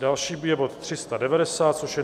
Další je bod 390, což je